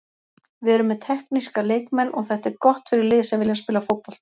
Við erum með tekníska leikmenn og þetta er gott fyrir lið sem vilja spila fótbolta.